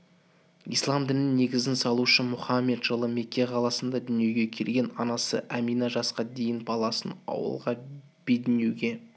ислам дінінің негізін салушы мұхаммед жылы мекке қаласында дүниеге келген анасы амина жаска дейін баласын ауылға бедуинге